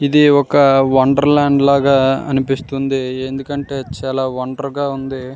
ఇది ఒక wonderland లాగా అనిపిస్తుంది. ఎందుకంటే చాలా వన్డేర్ గా ఉంది.